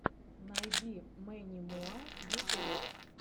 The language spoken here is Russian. найди мэнни муа ютуб